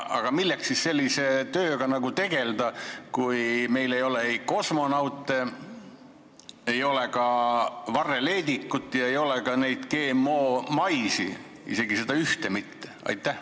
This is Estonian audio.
Aga milleks siis sellise tööga tegelda, kui meil ei ole ei kosmonaute, ei ole varreleedikut ega ole ka neid GM-maise, isegi seda ühte mitte?